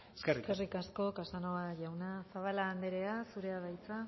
eskerrik asko eskerrik asko casanova jauna zabala andrea zurea da hitza